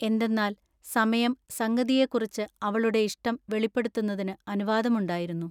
എന്തെന്നാൽ സമയം സംഗതിയെക്കുറിച്ച് അവളുടെ ഇഷ്ടം വെളിപ്പെടുത്തുന്നതിന് അനുവാദമുണ്ടായിരുന്നു.